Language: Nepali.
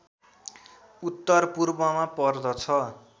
उत्तरपूर्वमा पर्दछ